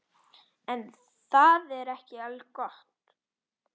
En það er ekki algott.